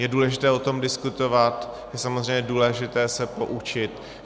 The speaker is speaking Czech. Je důležité o tom diskutovat, je samozřejmě důležité se poučit.